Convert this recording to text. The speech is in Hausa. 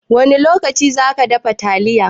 Wani lokaci zaki dafa taliyan?